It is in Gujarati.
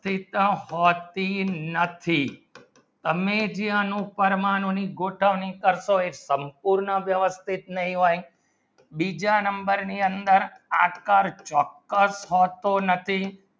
નથી તમે જે આનો પરમાણુની ગોઠવણી કરતો એક સંપૂર્ણ વ્યવસ્થિત નહીં હોય બીજા number ની અંદર આકાર ચોક્કસ હોતો નથી